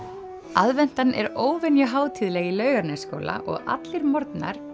aðventan er óvenju hátíðleg í Laugarnesskóla og allir morgnar